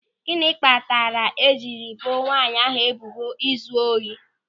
Gịnị kpatara e jiri ebo nwanyị ahụ ebubo izu ohi?